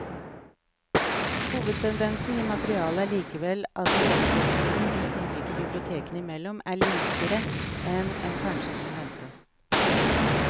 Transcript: Hovedtendensen i materialet er likevel at låneprofilen de ulike bibliotekene imellom er likere enn en kanskje kunne vente.